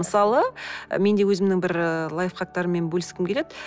мысалы мен де өзімнің бір лайфхактарыммен бөліскім келеді